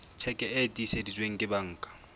tjheke e tiiseditsweng ke banka